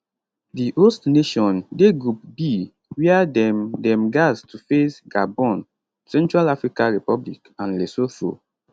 di host nation dey group b wia dem dem gatz to face gabon central africa republic and lesotho